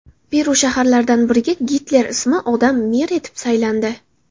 Peru shaharlaridan biriga Gitler ismli odam mer etib saylandi.